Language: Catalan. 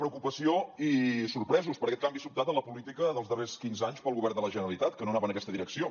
preocupació i sorpresos per aquest canvi sobtat en la política dels darrers quinze anys del govern de la generalitat que no anava en aquesta direcció